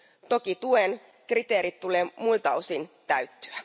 Toki tuen kriteerien tulee muilta osin täyttyä.